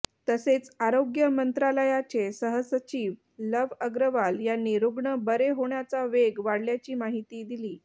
तसेच आरोग्य मंत्रालयाचे सहसचिव लव्ह अग्रवाल यांनी रुग्ण बरे होण्याचा वेग वाढल्याची माहिती दिली